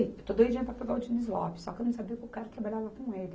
Eu estou doidinha para pegar o Diniz Lopes, só que eu não sabia que o cara trabalhava com ele.